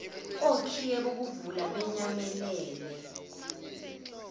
okhiye bokuvula benyamalele